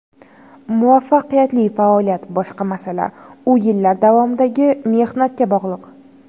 Muvaffaqiyatli faoliyat boshqa masala, u yillar davomidagi mehnatga bog‘liq.